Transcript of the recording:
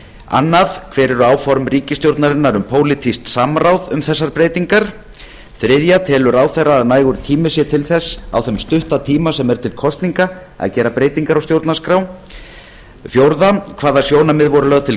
annar hver eru áform ríkisstjórnarinnar um pólitískt samráð um þessar breytingar þriðja telur ráðherra að nægur tími sé til þess á þeim stutta tíma sem er til kosninga að gera breytingar á stjórnarskrá fjórða hvaða sjónarmið voru lögð til